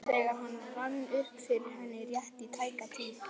þegar það rann upp fyrir henni, rétt í tæka tíð.